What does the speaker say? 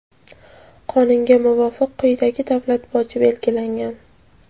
Qonunga muvofiq, quyidagi davlat boji belgilangan:.